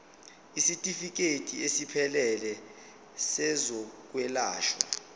isitifikedi esiphelele sezokwelashwa